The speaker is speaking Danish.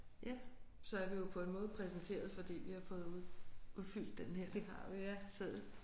Ja så er vi jo på en måde præsenteret fordi vi har fået udfyldt den her seddel